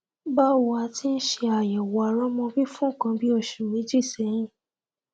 báwo a ti ń ṣe àyẹwò àrọmọbí fún nǹkan bí oṣù méjì sẹyìn